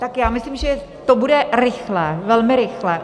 Tak já myslím, že to bude rychle, velmi rychle.